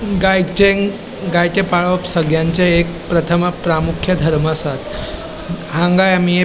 गायचे गायचे पाळप सगळ्यांचे एक प्रथम प्रामुख्य धर्म आसा हांगा आमी एक --